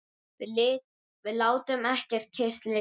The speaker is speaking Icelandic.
Við látum ekki kyrrt liggja.